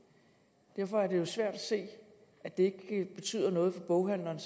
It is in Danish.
derfor er det jo svært at se at det ikke betyder noget for boghandlerne